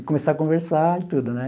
e começar a conversar e tudo, né?